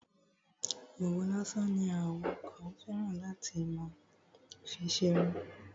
Òwú lásán ni àwọn kan fẹ́ràn láti fi má ṣerun.